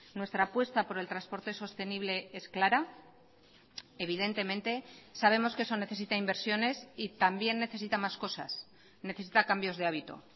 nuestra apuesta por el transporte sostenible es clara evidentemente sabemos que eso necesita inversiones y también necesita más cosas necesita cambios de hábito